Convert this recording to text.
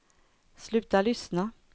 sluta lyssna